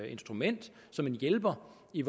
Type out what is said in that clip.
instrument som en hjælper i